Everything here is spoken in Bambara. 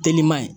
Telima ye